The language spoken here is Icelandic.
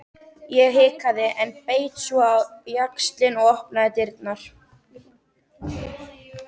Ég hikaði, en beit svo á jaxlinn og opnaði dyrnar.